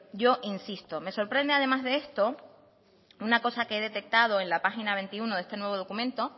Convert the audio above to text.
yo insisto me sorprende además de esto una cosa que he detectado en la página veintiuno de este nuevo documento